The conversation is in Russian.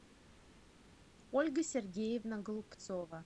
ольга сергеевна голубцова